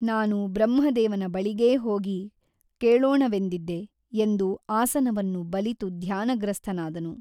ನಾನು ಬ್ರಹ್ಮದೇವನ ಬಳಿಗೇ ಹೋಗಿ ಕೇಳೋಣವೆಂದಿದ್ದೆ ಎಂದು ಆಸನವನ್ನು ಬಲಿತು ಧ್ಯಾನಗ್ರಸ್ಥನಾದನು.